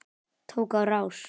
Tók á rás.